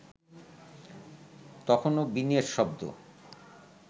তখনো বীণের শব্দ